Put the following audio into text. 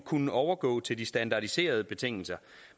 kunne overgå til de standardiserede betingelser